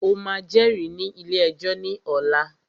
O máà jẹ́rìí ní ilé ẹjọ́ ní ọ̀la!